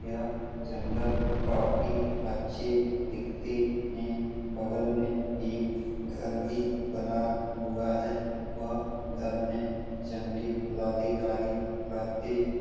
यह जंगल काफ़ी अच्छी दिखती है | बगल में एक घर भी बना हुआ है वह घर में जंगली प्राधिकारी रहते --